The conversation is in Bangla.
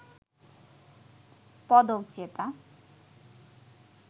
পদক জেতা